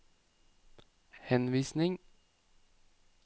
henvisning